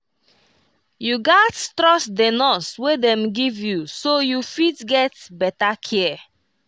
you gats trust the nurse wey dem give you so you fit get better care